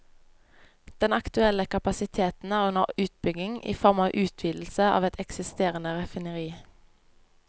Den aktuelle kapasiteten er under utbygging i form av utvidelse av et eksisterende raffineri.